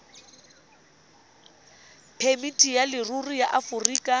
phemiti ya leruri ya aforika